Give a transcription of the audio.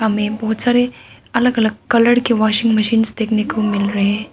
यहां में बहुत सारे अलग अलग कलर के वाशिंग मशीन्स देखने को मिल रहे है।